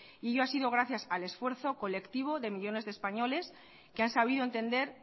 y ello ha sido gracias al esfuerzo colectivo de millónes de españoles que han sabido entender